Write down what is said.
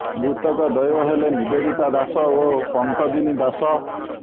ମୃତକ ଦ୍ୱୟ ହେଲେ ନିବେଦିତା ଦାଶ ଓ ପଙ୍କଜିନୀ ଦାଶ